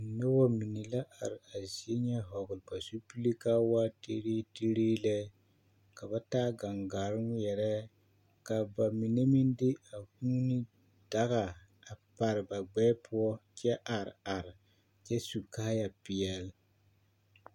Noba mine la are a zie ŋa vɔgle ba zupile ka a waa teree teree lɛ ka ba taa gaŋgaare ŋmeɛrɛ ka ba mine meŋ de a kuuni daga a pare ba gbɛɛ poɔ kyɛ are are kyɛ su kaayapeɛlle.